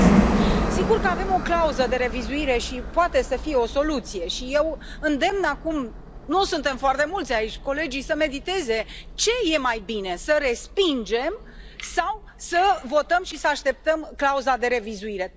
6. Sigur că avem o clauză de revizuire și poate să fie o soluție și eu îndemn acum nu suntem foarte mulți aici colegii să mediteze ce e mai bine să respingem sau să votăm și să așteptăm clauza de revizuire.